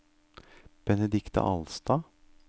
Benedikte Alstad